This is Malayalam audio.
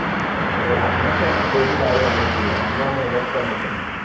ഇവിടെ അമ്മയ്ക്ക് അങ്ങനത്തെ ഒരു കാര്യവും അറിയത്തില്ല അമ്മമേ ഇതൊക്കെ നോക്കുന്നത്